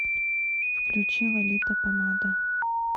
включи лолита помада